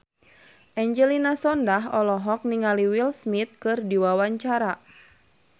Angelina Sondakh olohok ningali Will Smith keur diwawancara